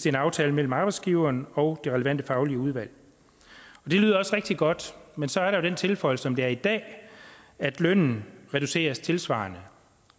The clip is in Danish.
en aftale mellem arbejdsgiveren og det relevante faglige udvalg det lyder også rigtig godt men så er der den tilføjelse som det er i dag at lønnen reduceres tilsvarende